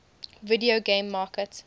video game market